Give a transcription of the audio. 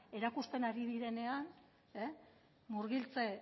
erakusten ari direnean murgiltze